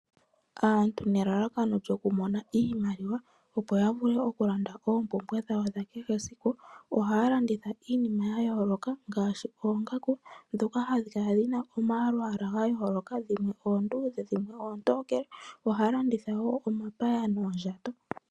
Aantu nelalakono lyoku mona iimaliwa, opo yavule okulanda oompumbwe dhawo dha kehesiku ohaya landitha iinima yayooloka ngaashi, oongaku dhoka hadhi kala dhina omalwaala gayooloka dhimwe oondudhe ,dhimwe oontokele ohaya landitha woo omapaya noondjato.